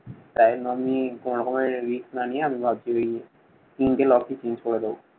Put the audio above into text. তাই আমি কোনো রকমের risk না নিয়ে আমি ভাবছি তিনদিন office miss করে দেব।